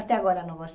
Até agora não gosto.